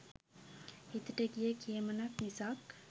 හිතට ගිය "කියමනක්" මිසක්